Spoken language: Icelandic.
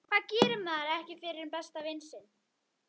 Hvað gerir maður ekki fyrir besta vin sinn?